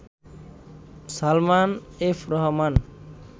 Salman F Rahman